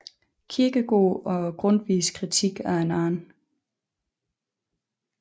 Kierkegaards og Grundtvigs kritik af hinanden